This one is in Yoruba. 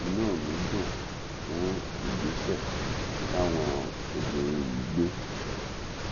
inú mi dùn fún ìgbésẹ táwọn obìnrin yìí gbé